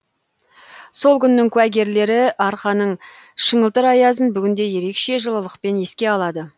сол күннің куәгерлері арқаның шыңылтыр аязын бүгінде ерекше жылылықпен еске алады